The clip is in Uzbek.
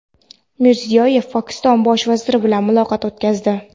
Mirziyoyev Pokiston Bosh vaziri bilan muloqot o‘tkazdi.